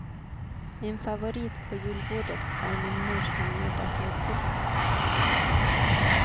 Min favorit på julbordet är min mors hemgjorda kalvsylta.